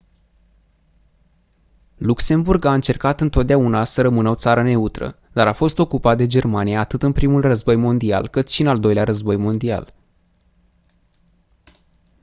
luxemburg a încercat întotdeauna să rămână o țară neutră dar a fost ocupat de germania atât în primul război mondial cât și în al doilea război mondial